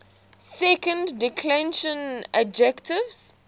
second declension adjectives